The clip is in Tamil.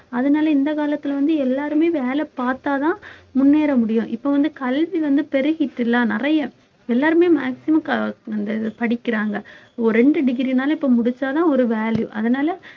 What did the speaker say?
அதனால இந்த காலத்துல வந்து எல்லாருமே வேலை பார்த்தாதான் முன்னேற முடியும் இப்ப வந்து கல்வி வந்து பெருகிட்டு இல்ல நிறைய எல்லாருமே maximum கா~ அந்த இது படிக்கிறாங்க ஒரு ரெண்டு degree னால இப்ப முடிச்சாதான் ஒரு value அதனால